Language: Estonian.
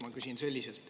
Ma küsin selliselt.